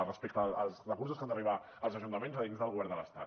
respecte als recursos que han d’arribar als ajuntaments dins del govern de l’estat